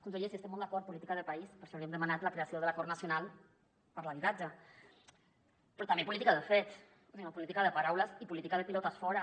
conseller sí hi estem molt d’acord política de país per això li hem demanat la creació de l’acord nacional per l’habitatge però també política de fets i no política de paraules i política de pilotes fora